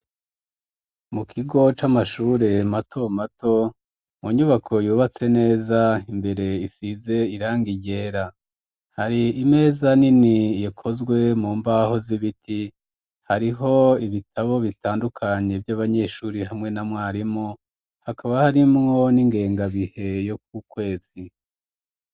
Mu kigo c'amashure mato mato mu nyubako yubatse neza imbere isize iranga ryera hari imeza nini ikozwe mu mbaho z'ibiti hariho ibitabo bitandukanye vy'abanyeshuri hamwe na mwarimu hakaba harimwo n'ingengabihe yo k'ukwezi.